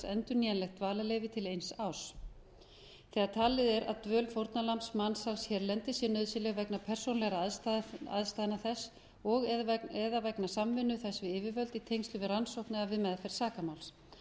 endurnýjanlegt dvalarleyfi til eins árs þegar talið er að dvöl fórnarlambs hérlendis sé nauðsynleg vegna persónulegra aðstæðna þess og eða vegna samvinnu þess við yfirvöld í tengslum við rannsókn eða við meðferð sakamáls